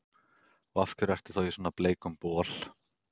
Og af hverju ertu þá í svona bleikum bol?